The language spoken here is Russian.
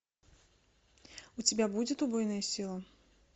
у тебя будет убойная сила